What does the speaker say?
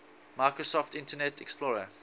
microsoft internet explorer